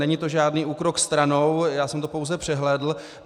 Není to žádný úkrok stranou, já jsem to pouze přehlédl.